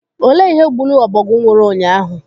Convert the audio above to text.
Olee ihe gburu ọbọgwụ nwụrụ ụnyaahụ?